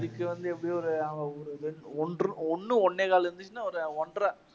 அதுக்கு வந்து எப்படியும் ஒரு ஒன்று ஒண்ணு ஒண்ணே கால் லட்சம் தான் வரும்